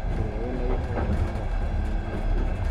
ũrĩa wĩna ihoru onaga atiganĩirio nĩ andũ